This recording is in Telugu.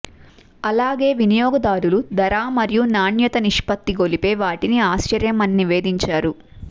అలాగే వినియోగదారులు ధర మరియు నాణ్యత నిష్పత్తి గొలిపే వాటిని ఆశ్చర్యం అని నివేదించారు